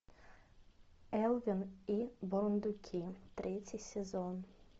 элвин и бурундуки третий сезон